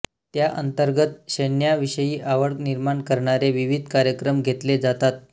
त्याअंतर्गत सैन्याविषयी आवड निर्माण करणारे विविध कार्यक्रम घेतले जातात